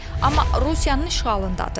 Amma Rusiyanın işğalındadır.